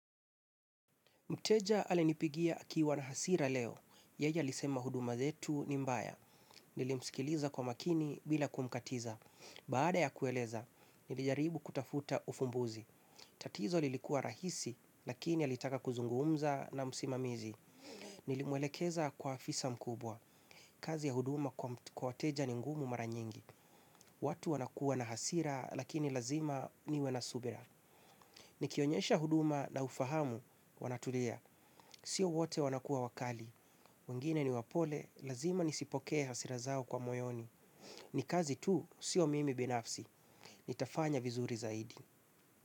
Mteja alinipigia akiwa na hasira leo. Yeye alisema huduma zetu ni mbaya. Nilimsikiliza kwa makini bila kumkatiza. Baada ya kueleza, nilijaribu kutafuta ufumbuzi. Tatizo lilikuwa rahisi, lakini alitaka kuzungumza na musimamizi. Nilimwelekeza kwa afisa mkubwa. Kazi ya huduma kwa wateja ni ngumu maranyingi. Watu wanakuwa na hasira, lakini lazima niwe na subira. Nikionyesha huduma na ufahamu, wanatulia. Sio wote wanakuwa wakali wengine ni wapole. Lazima nisipokee hasira zao kwa moyoni. Ni kazi tu. Sio mimi binafsi. Nitafanya vizuri zaidi.